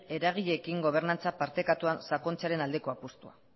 eragileekin gobernantza partekatuan sakontzearen aldeko apustua